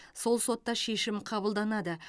сол сотта шешім қабылданады